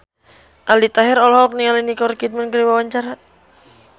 Aldi Taher olohok ningali Nicole Kidman keur diwawancara